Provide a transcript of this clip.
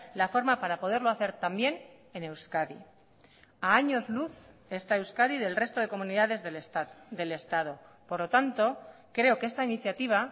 la forma para poderlo hacer también en euskadi a años luz está euskadi del resto de comunidades del estado por lo tanto creo que esta iniciativa